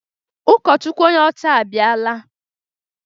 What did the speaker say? Ụkọchukwu onye ọcha ahụ abịala